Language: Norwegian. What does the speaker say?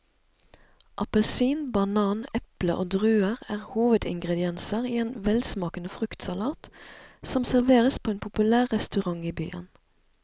Appelsin, banan, eple og druer er hovedingredienser i en velsmakende fruktsalat som serveres på en populær restaurant i byen.